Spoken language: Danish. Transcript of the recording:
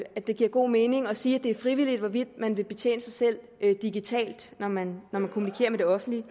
at det giver god mening at sige at det er frivilligt hvorvidt man vil betjene sig selv digitalt når man kommunikerer med det offentlige